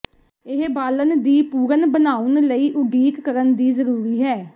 ਇਹ ਬਾਲਣ ਦੀ ਪੂਰਨ ਬਣਾਉਣ ਲਈ ਉਡੀਕ ਕਰਨ ਦੀ ਜ਼ਰੂਰੀ ਹੈ